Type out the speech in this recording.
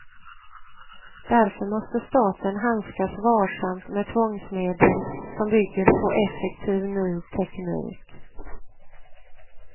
Därför måste staten handskas varsamt med tvångsmedel som bygger på effektiv ny teknik.